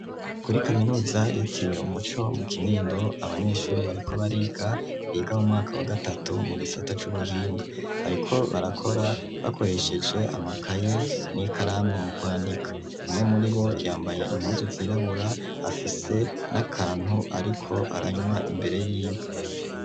Kuri kaminuza yitiriwe umuco mu kinindo abanyeshuri bariko bariga biga mu mwaka wa gatatu mu gisata cy'ubuhinga bariko barakora bakoresheje amakaye n'ikaramu mu kwandika umwe muri bo yambaye inpuzu zirabura afise n'akantu ariko aranywa imbere yiwe.